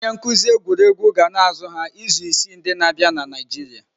Onye nkuzi egwuregwu ga na-azụ ha izu isii ndi na-abịa na Naịjirịa.